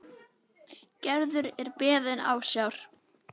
Gerður er beðin ásjár.